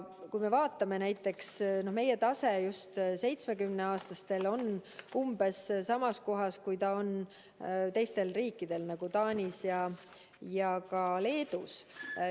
Kui me vaatame, siis meie tase üle 70-aastaste puhul on umbes sama kui teistes riikides, näiteks Taanis ja ka Leedus.